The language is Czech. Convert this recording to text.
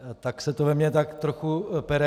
Tak se to ve mně tak trochu pere.